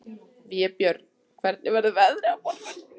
Vébjörn, hvernig verður veðrið á morgun?